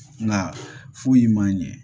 Nka foyi man ɲɛ